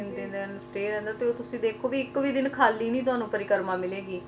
ਤੇ ਫੇਰ ਤੁਸੀ ਦੇਖੋ ਕੇ ਇੱਕ ਵੀ ਦਿਨ ਖਾਲੀ ਨਹੀਂ ਤੁਹਾਨੂੰ ਪਰਿਕ੍ਰਮਾ ਮਿਲੇਗੀ ਹਜ਼ਾਰਾਂ ਹੀ ਗਿਣਤੀ